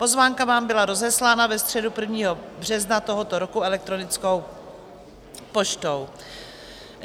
Pozvánka vám byla rozeslána ve středu 1. března tohoto roku elektronickou poštou.